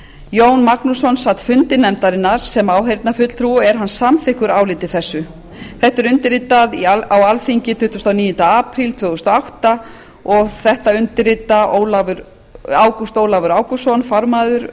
jón magnússon sat fundi nefndarinnar sem áheyrnarfulltrúi og er hann samþykkur áliti þessu þetta er undirritað á alþingi tuttugasta og níunda apríl tvö þúsund og átta og þetta undirrita ágúst ólafur ágústsson